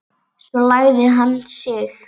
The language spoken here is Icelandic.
Svo lagði hann sig.